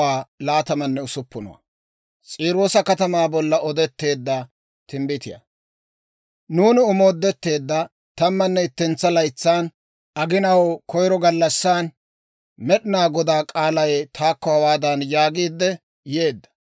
Nuuni omoodetteedda tammanne ittentsa laytsan, aginaw koyiro gallassan, Med'inaa Godaa k'aalay taakko hawaadan yaagiidde yeedda;